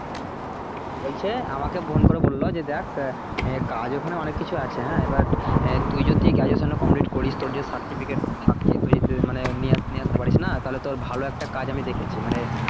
হ্যাঁ বলছে আমাকে phone করে বললো যে দেখ কাজ ওখানে অনেক কিছু আছে হ্যা এবার তুই যদি graduation টা complete করিস তোর যদি certificate থাকে তো তুই যদি মানে নিয়ে নিয়ে আসতে পারিস না তাহলে তোর ভালো একটা কাজ আমি দেখেছি মানে